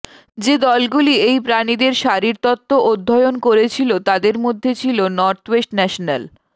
যে দলগুলি এই প্রাণীদের শারীরতত্ত্ব অধ্যয়ন করেছিল তাদের মধ্যে ছিল নর্থওয়েস্ট ন্যাশনাল